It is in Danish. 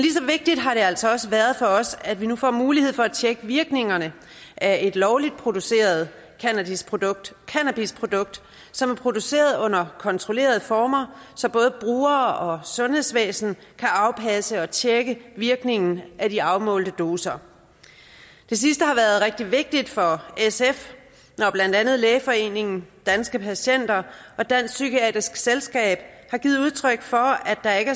vigtigt har det altså også været for os at vi nu får mulighed for at tjekke virkningerne af et lovligt produceret cannabisprodukt cannabisprodukt som er produceret under kontrollerede former så både brugere og sundhedsvæsen kan afpasse og tjekke virkningen af de afmålte doser det sidste har været rigtig vigtigt for sf når blandt andet lægeforeningen danske patienter og dansk psykiatrisk selskab har givet udtryk for at der ikke